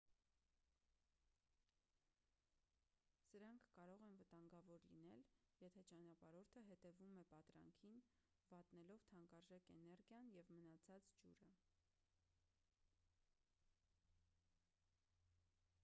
սրանք կարող են վտանգավոր լինել եթե ճանապարհորդը հետևում է պատրանքին վատնելով թանկարժեք էներգիան և մնացած ջուրը